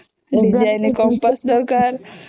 design compass ଦରକାର